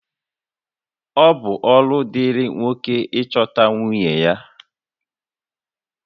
Ọ bụ ọrụ dịịrị nwoke ka ọ chọta nwunye